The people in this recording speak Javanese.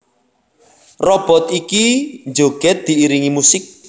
Robot iki njogèd diiringi musik